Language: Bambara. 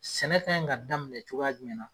Sɛnɛfɛn kɛ in ka daminɛ cogoya jumɛn na ?